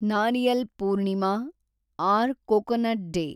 Nariyal Purnima or coconut day